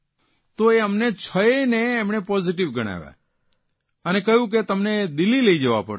તો અમને છ યે ને તેમણે પોઝીટીવ ગણાવ્યા અને કહ્યું કે તમને દિલ્હી લઇ જવા પડશે